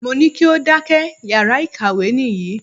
Mo ní kí o dákẹ́! Yàrá ìkàwé nìyí.